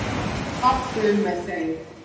Varð fátt um með þeim